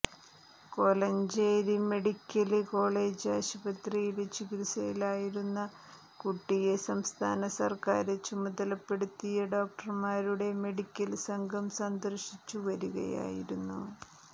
Kolenchery medical college ആശുപത്രിയില് ചികിത്സയിലായിരുന്ന കുട്ടിയെ സംസ്ഥാന സര്ക്കാര് ചുമതലപ്പെടുത്തിയ ഡോക്ടര്മാരുടെ മെഡിക്കല് സംഘം സന്ദര്ശിച്ചു വരികയായിരുന്നു